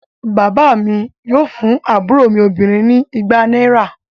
Bàbá mi yóò fún àbúrò mi obìnrin ni igba náírà.